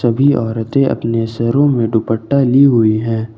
भी औरतें अपने सरों में दुपट्टा ली हुई हैं।